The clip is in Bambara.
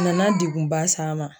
Nana degunba s'an ma